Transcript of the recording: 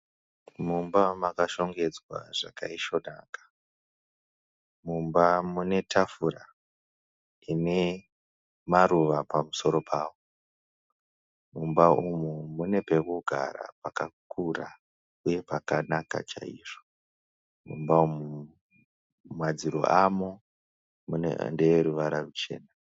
Mumba makashongedzwa zvakaisvonaka. Mumba mune tafura ine maruva pamusoro pawo. Mumba umu mune pekugara pakakura uye pakanaka chaizvo Mumba umu madziro amo ndeeruvara ruchena.